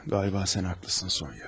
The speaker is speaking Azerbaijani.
Qaliba sən haqlısan, Sonya.